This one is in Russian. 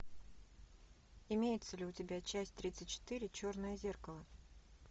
имеется ли у тебя часть тридцать четыре черное зеркало